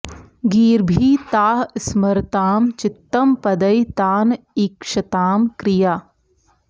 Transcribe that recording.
गीर्भिः ताः स्मरतां चित्तं पदैः तान् ईक्षतां क्रिया